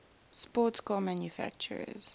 sports car manufacturers